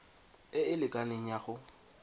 e e lekaneng ya go